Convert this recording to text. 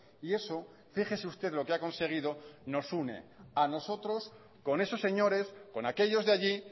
y eso fíjese usted lo que ha conseguido nos une a nosotros con esos señores con aquellos de allí